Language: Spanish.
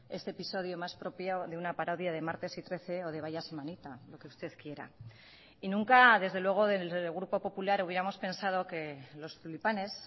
este episodio más propio de una parodia de martes y trece o de vaya semanita lo que usted quiera y nunca desde luego desde el grupo popular hubiéramos pensado que los tulipanes